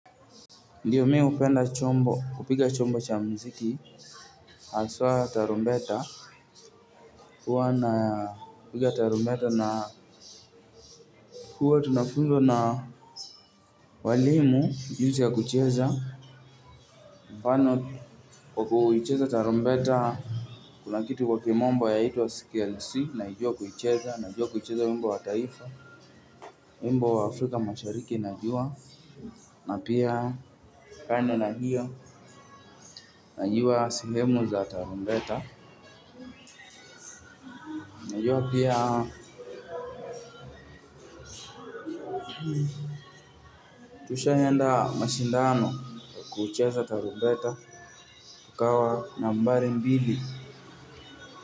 Ndio mi hupenda chombo, kupiga chombo cha muziki aswa tarumbeta huwa napiga tarumbeta na huwa tunafunzwa na walimu jinsi ya kucheza pano kwa kuicheza tarumbeta kuna kitu kwa kimombo yaitwa scale see naijua kuicheza, najua kucheza wimbo wa taifa wimbo wa Afrika mashariki najua na pia kando na hiyo najua sehemu za tarumbeta, najua pia tushaienda mashindano kucheza tarumbeta tukawa nambari mbili.